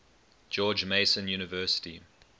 george mason university